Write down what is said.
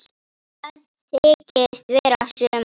Það þykist vera sumar.